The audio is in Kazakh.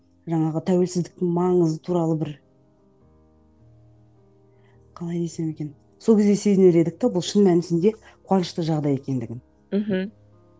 жаңағы тәуелсіздіктің маңызы туралы бір қалай десем екен сол кезде сезінер едік те бұл шын мәнісінде қуанышты жағдай екендігін мхм